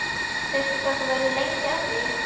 Veistu hvað þú verður lengi að því?